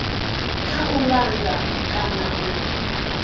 kha u langa kana u